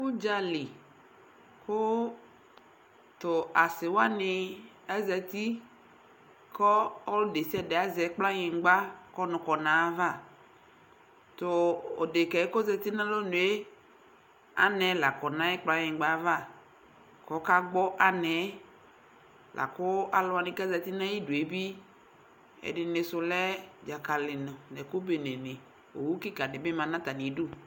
Ʋdzali kʋ tʋ asɩwanɩ azati kɔ ɔlʋ desiade azɛ kplanyïgba k'ɔnʋ kɔ n'ayava Tʋ dekǝ kozati n'alonue anɛ la kɔ n'ayʋ kplanyɩgba ava kɔka gbɔ anɛɛ lakʋ alʋwanɩ kezati nayidue bɩ ɛdɩnɩ sʋ lɛ dzakalɩnɩ , ɛkʋ bene nɩ, owu kɩkadɩ bɩ ma n'atamidu